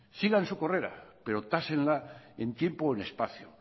sigan su carrera pero tásenla en tiempo y espacio